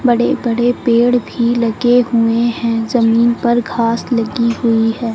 बड़े बड़े पेड़ भी लगे हुए हैं जमीन पर घास लगी हुई है।